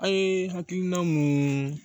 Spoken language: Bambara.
An ye hakilina mun